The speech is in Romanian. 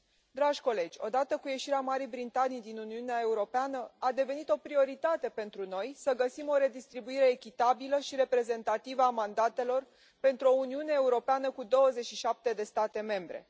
Dragi colegi, odată cu ieșirea Marii Britanii din Uniunea Europeană, a devenit o prioritate pentru noi să găsim o redistribuire echitabilă și reprezentativă a mandatelor, pentru o Uniune Europeană cu 27 de state membre.